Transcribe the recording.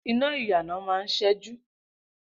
Iná ìyànà máa ń ṣẹ́jú